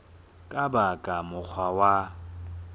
ka ba ka mokgwa wa